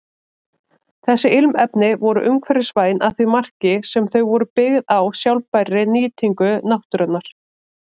Þessi ilmefni voru umhverfisvæn að því marki sem þau voru byggð á sjálfbærri nýtingu náttúrunnar.